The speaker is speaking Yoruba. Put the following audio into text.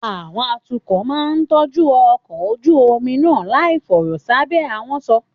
Àwọn atukọ̀ náà máa ń tọ́jú ọkọ̀ ojú omi náà láìfọ̀rọ̀ sábẹ́ ahọ́n sọ.